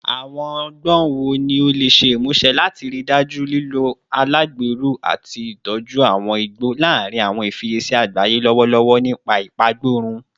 Awọn ọgbọn wo ni o le ṣe imuse lati rii daju lilo alagbero ati itoju awọn igbo larin awọn ifiyesi agbaye lọwọlọwọ nipa ipagborun?